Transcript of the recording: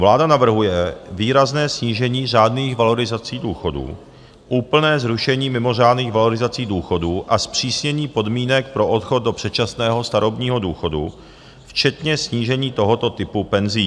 Vláda navrhuje výrazné snížení řádných valorizací důchodů, úplné zrušení mimořádných valorizací důchodů a zpřísnění podmínek pro odchod do předčasného starobního důchodu včetně snížení tohoto typu penzí.